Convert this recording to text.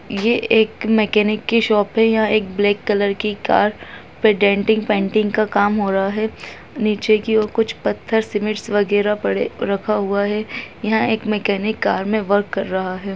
ये एक मैकेनिक की शॉप है यहाँ एक ब्लैक कलर की कार पे डेंटिंग पेंटिंग का काम हो रहा है निचे की ओर कुछ पत्थर सीमेंट्स वगेरा पड़े रखा हुआ है यहाँ एक मैकेनिक कार में वर्क कर रहा है।